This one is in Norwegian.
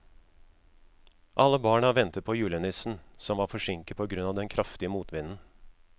Alle barna ventet på julenissen, som var forsinket på grunn av den kraftige motvinden.